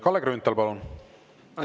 Kalle Grünthal, palun!